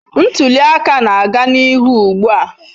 Ntuli aka na-aga n'ihu ugbu a.